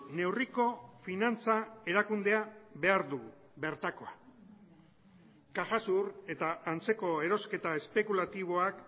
neurriko finantza erakundea behar dugu bertakoa cajasur eta antzeko erosketa espekulatiboak